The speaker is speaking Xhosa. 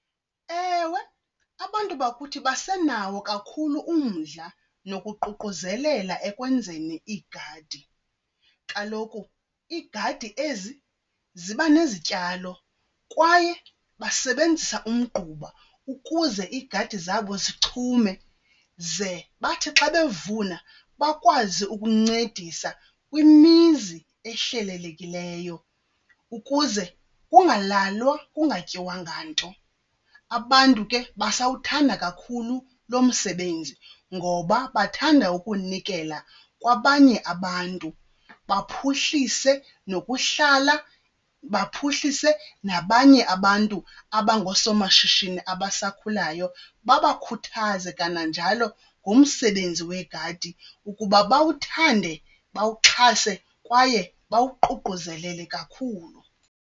Ewe, abantu bakuthi basenawo kakhulu umdla nokuququzelela ekwenzeni iigadi. Kaloku iigadi ezi ziba nezityalo kwaye basebenzisa umgquba ukuze iigadi zabo zichume. Ze bathi xa bevuna bakwazi ukuncedisa kwimizi ehlelelekileyo ukuze kungalalwa kungatyiwanga nto. Abantu ke basawuthanda kakhulu lo msebenzi ngoba bathanda ukunikela kwabanye abantu, baphuhlise nokuhlala, baphuhlise nabanye abantu abangoosomashishini abasakhulayo. Babakhuthaze kananjalo ngomsebenzi wegadi ukuba bawuthande, bawuxhase kwaye bawuququzelele kakhulu.